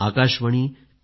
Akashvani F